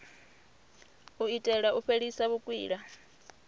u itela u fhelisa vhukwila